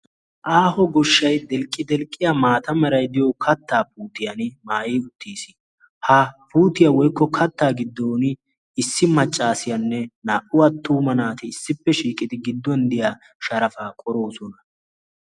Aaho goshshai delqqi delqqiya maata meray diyo kattaa puutiyan maayi uttiis. ha puutiyaa woikko kattaa giddon issi maccaasiyaanne naa"u attuuma naati issippe shiiqidi giddon diya sharafaa qoroosona.